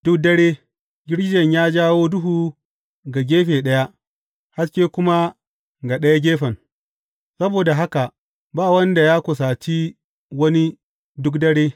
Duk dare, girgijen ya jawo duhu ga gefe ɗaya, haske kuma ga ɗaya gefen; saboda haka ba wanda ya kusaci wani duk dare.